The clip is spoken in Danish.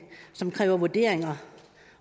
som kræver vurderinger